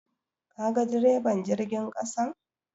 Kaga deriban jirgin ƙasan?